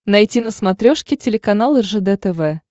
найти на смотрешке телеканал ржд тв